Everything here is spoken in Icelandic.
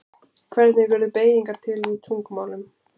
Hvernig urðu beygingar til í tungumálum?